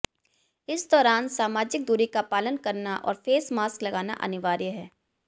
इस दौरान सामाजिक दूरी का पालन करना और फेस मास्क लगाना अनिवार्य है